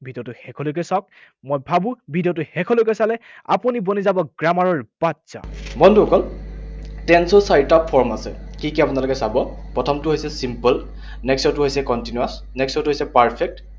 ভিডিঅটো শেষলৈকে চাওঁক। মই ভাবো ভিডিঅটো শেষলৈকে চালে আপুনি বনি যাব grammar ৰ বাদশ্বাহ। বন্ধুসকল, tense ৰ চাৰিটা form আছে। কি কি আপোনালোকে চাব। প্ৰথমটো হৈছে simple, next ৰটো হৈছে continuous, next ৰটো হৈছে perfect